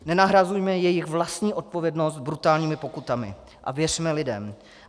Nenahrazujme jejich vlastní odpovědnost brutálními pokutami a věřme lidem.